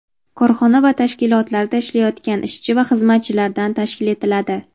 korxona va tashkilotlarda ishlayotgan ishchi va xizmatchilardan tashkil etiladi.